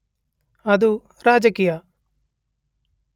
ಅದು ರಾಜಕೀಯ